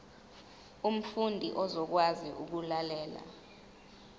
umfundi uzokwazi ukulalela